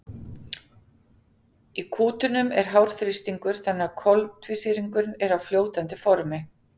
í kútunum er hár þrýstingur þannig að koltvísýringurinn er á fljótandi formi